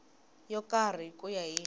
yo karhi ku ya hi